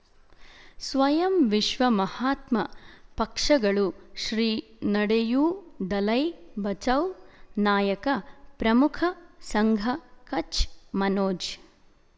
ಸ್ವಯಂ ವಿಶ್ವ ಮಹಾತ್ಮ ಪಕ್ಷಗಳು ಶ್ರೀ ನಡೆಯೂ ದಲೈ ಬಚೌ ನಾಯಕ ಪ್ರಮುಖ ಸಂಘ ಕಚ್ ಮನೋಜ್